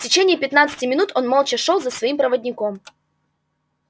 в течение пятнадцати минут он молча шёл за своим проводником